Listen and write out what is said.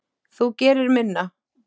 Þú gerir minna.